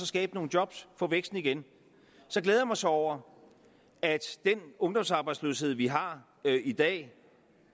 skabe nogle job at få væksten igen jeg glæder mig så over at den ungdomsarbejdsløshed vi har i dag